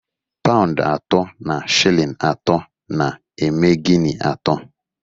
Paụnd atọ na shilling atọ na-eme Guinea atọ